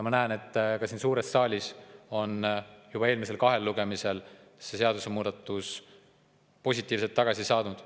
Ma näen, et ka siin suures saalis sai see seadusemuudatus juba eelmisel kahel lugemisel positiivset tagasisidet.